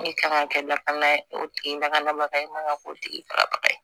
Min kan ka kɛ lakana ye o tigi lakana ye k'o tigi ba ye